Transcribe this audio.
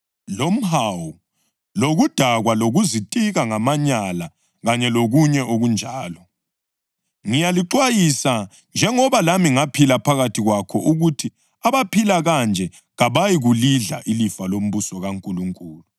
lomhawu; ukudakwa lokuzitika ngamanyala kanye lokunye okunjalo. Ngiyalixwayisa, njengoba lami ngaphila phakathi kwakho ukuthi abaphila kanje kabayikulidla ilifa lombuso kaNkulunkulu.